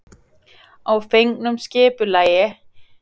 Að fengnu skipulagi var byggingarleyfi auðsótt og hægt að hefjast handa.